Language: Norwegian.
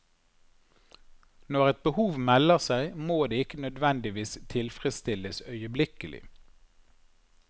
Når et behov melder seg, må det ikke nødvendigvis tilfredsstilles øyeblikkelig.